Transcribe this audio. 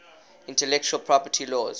intellectual property laws